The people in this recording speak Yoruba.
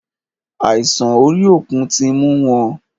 Àìsàn orí òkun tí mú wọn.